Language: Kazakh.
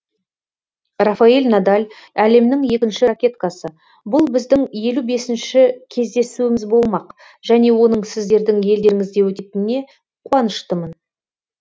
рафаэль надаль әлемнің екінші ракеткасы бұл біздің елу бесінші кездесуіміз болмақ және оның сіздердің елдеріңізде өтетіне қуаныштымын